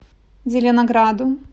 зеленограду